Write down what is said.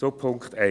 Zu Punkt 1: